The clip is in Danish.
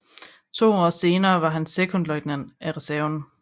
To år senere var han sekondløjtnant af reserven